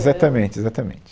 Exatamente, exatamente.